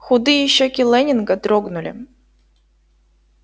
худые щёки лэннинга дрогнули